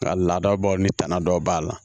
Nka laadabaw ni tana dɔ b'a la